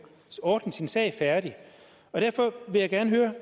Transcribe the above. ordnet sin sag færdig derfor vil jeg gerne høre